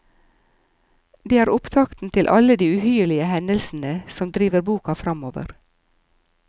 Det er opptakten til alle de uhyrlige hendelsene som driver boka framover.